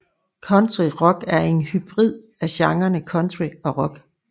Country rock er en hybrid af genrene country og rock